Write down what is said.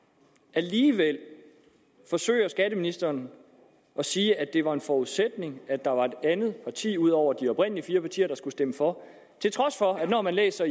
alligevel forsøger skatteministeren at sige at det var en forudsætning at der var et andet parti ud over de oprindelige fire partier der skulle stemme for til trods for at når man læser